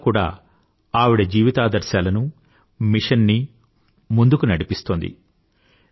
అది ఇవాళ కూడా ఆవిడ జీవితాదర్శాలను మిషన్ నీ ముందుకు నడిపిస్తోంది